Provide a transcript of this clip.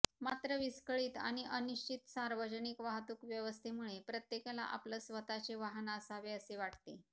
मात्र विस्कळीत आणि अनिश्चित सार्वजनिक वाहतूक व्यवस्थेमुळे प्रत्येकाला आपलं स्वतःचे वाहन असावे असे वाटते